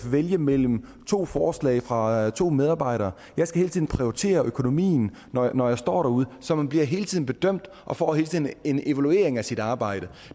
vælge mellem to forslag fra to medarbejdere jeg skal hele tiden prioritere økonomien når når jeg står derude så man bliver hele tiden bedømt og får hele tiden en evaluering af sit arbejde